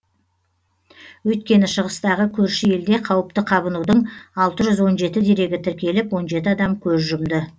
өйткені шығыстағы көрші елде қауіпті қабынудың алты жүз он жеті дерегі тіркеліп он жеті адам көз жұмды